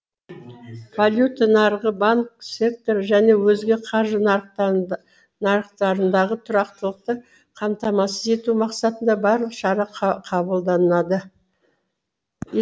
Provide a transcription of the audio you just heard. валюта нарығы банк секторы және өзге қаржы нарықтарындағы тұрақтылықты қамтамасыз ету мақсатында барлық шара қабылданады